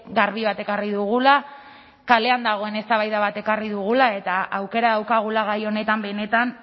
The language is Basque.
garbi bat ekarri dugula kalean dagoen eztabaida bat ekarri dugula eta aukera daukagula gai honetan benetan